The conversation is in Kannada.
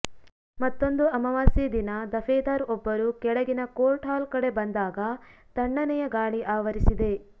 ಮತ್ತೊಂದು ಅಮಾವಾಸ್ಯೆ ದಿನ ದಫೇದಾರ್ ಒಬ್ಬರು ಕೆಳಗಿನ ಕೋರ್ಟ್ ಹಾಲ್ ಕಡೆ ಬಂದಾಗ ತಣ್ಣನೆಯ ಗಾಳಿ ಆವರಿಸಿದೆ